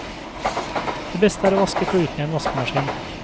Det beste er å vaske klutene i en vaskemaskin.